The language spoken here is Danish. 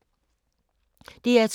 DR2